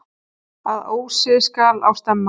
Að ósi skal á stemma.